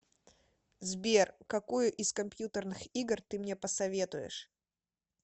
сбер какую из компьютерных игр ты мне посоветуешь